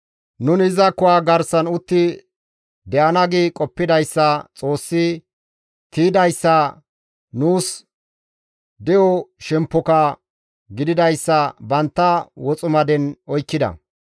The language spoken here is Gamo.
Nuni iza kuwa garsan utti de7ana gi qoppidayssa, Xoossi tiydayssa, nuus de7o shemppoka gididayssa bantta woximaden oykkida.